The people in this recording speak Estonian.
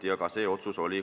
Tänan!